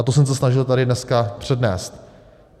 A to jsem se snažil tady dneska přednést.